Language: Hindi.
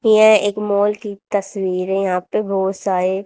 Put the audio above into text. यह एक मॉल की तस्वीर यहां पे बहोत सारे--